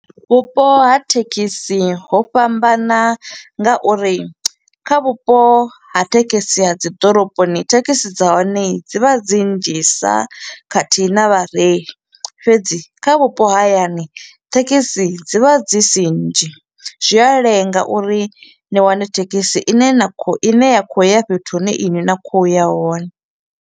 Vhupo ha thekhisi ho fhambana ngauri kha vhupo ha thekhisi ha dzi ḓoroboni, thekhisi dza hone dzi vha dzi nnzhisa khathihi na vhareili, fhedzi kha vhupo ha hayani, thekhisi dzi vha dzi si nnzhi, zwi a lenga uri ni wane thekhisi i ne na kho u i ne ya kho u ya fhethu hune iṅwi na kho u ya hone.